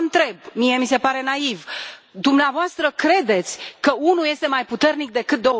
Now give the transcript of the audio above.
Vă întreb, mie mi se pare naiv, dumneavoastră credeți că unul este mai puternic decât